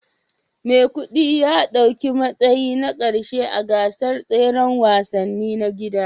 Maikudi ya dauki matsayi na karshe a gasar tseren wasanni ta gida